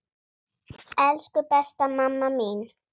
Elsku besta mamma mín.